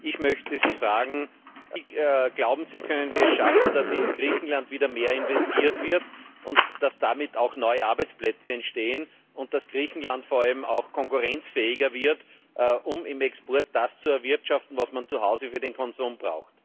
Ich möchte Sie fragen Wie, glauben Sie, können wir es schaffen, dass in Griechenland wieder mehr investiert wird, dass damit auch neue Arbeitsplätze entstehen und dass Griechenland vor allem auch konkurrenzfähiger wird, um im Export das zu erwirtschaften, was man zu Hause für den Konsum braucht?